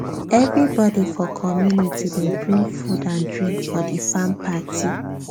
everybody for community dey bring food and drink for di farm party